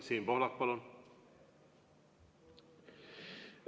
Siim Pohlak, palun!